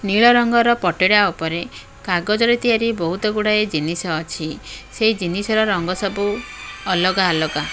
ନୀଳ ରଙ୍ଗର ପଟିଟା ଉପରେ କାଗଜରେ ତିଆରି ବହୁତ ଗୁଡ଼ାଏ ଜିନିଷ ଅଛି ସେ ଜିନିଷର ରଙ୍ଗ ସବୁ ଅଲଗା ଅଲଗା--